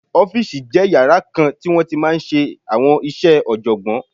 Ọ́fìsì jẹ́ yàrá kan tí wọ́n ti máa n ṣe àwọn iṣẹ́ ọ̀jọ̀gbọ́n